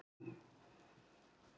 Norðurfirði